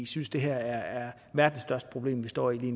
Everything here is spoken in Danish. synes det her er verdens største problem vi står i